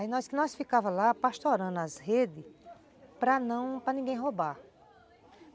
Aí nós nós ficávamos lá pastorando as redes para ninguém roubar.